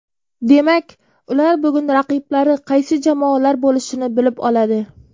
Demak, ular bugun raqiblari qaysi jamoalar bo‘lishini bilib oladi.